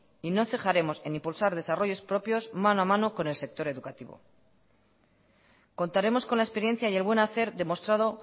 y no cejaremos en impulsar desarrollos propios mano a mano con el sector educativo contaremos con la experiencia y el buen hacer demostrado